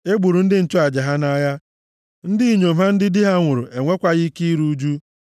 E gburu ndị nchụaja ha nʼagha; ndị inyom ha ndị di ha nwụrụ enwekwaghị ike iru ụjụ.